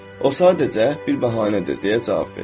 O sadəcə bir bəhanədir, deyə cavab verdim.